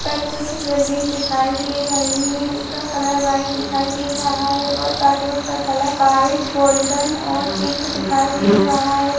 पर कुछ बिल्डिंग दिखाई दे रही है इसका कलर व्हाइट दिखाई दे रहा है और पर्दो का कलर व्हाइट गोल्डन और पिंक दिखाई दे रहा है।